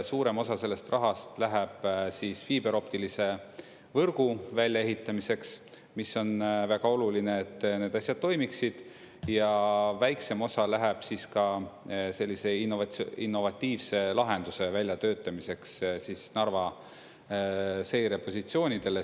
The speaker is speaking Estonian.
Suurem osa sellest rahast läheb fiiberoptilise võrgu väljaehitamiseks, mis on väga oluline, et need asjad toimiksid, ja väiksem osa läheb siis ka sellise innovatiivse lahenduse väljatöötamiseks Narva seirepositsioonidele.